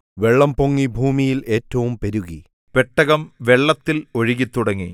വെള്ളം പൊങ്ങി ഭൂമിയിൽ ഏറ്റവും പെരുകി പെട്ടകം വെള്ളത്തിൽ ഒഴുകിത്തുടങ്ങി